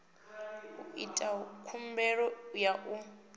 u ita khumbelo ya u